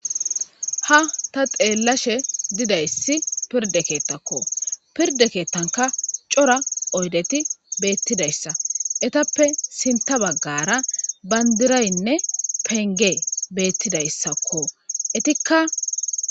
ha ta xeellashe didayssi pirde keettakko pirde keettanka cora oydeti beettidayssa etappe sinta baggara bayndiraynne penge beettidayssakko etikka